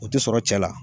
O tɛ sɔrɔ cɛ la